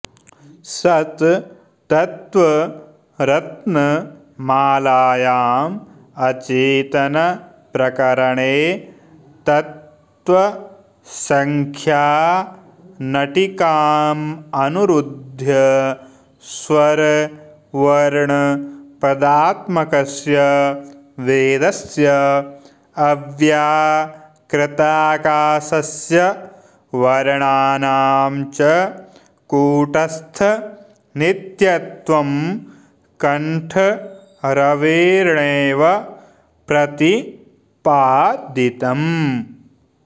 सत्तत्त्वरत्नमालायाम् अचेतनप्रकरणे तत्त्वसङ्ख्यानटिकामनुरुध्य स्वरवर्णपदात्मकस्य वेदस्य अव्याकृताकाशस्य वर्णानां च कूटस्थनित्यत्वं कण्ठरवेणैव प्रतिपादितम्